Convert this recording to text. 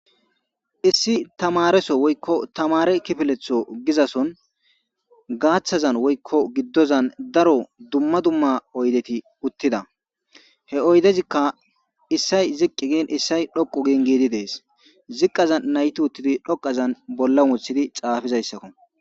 Issi tamareso woykko tamare kifeletho gizason gaaththazan woykko giddozan daro dumma dumma oydeti uttida he oydezikka issay ziqqi gin issay dhoqu gin giidi dees ziqqaza nayti uttidi dhoqazan bolla wuothidi xaafizayssakko.